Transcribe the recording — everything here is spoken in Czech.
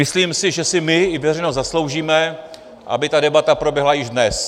Myslím si, že si my i veřejnost zasloužíme, aby ta debata proběhla i dnes.